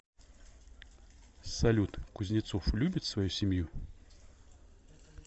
салют кузнецов любит свою семью